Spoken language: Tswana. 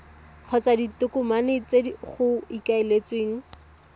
kgotsa ditokomane tse go ikaeletsweng